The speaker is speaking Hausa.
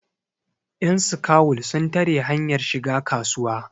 yanskawul sun tare hanyar shiga kasuwa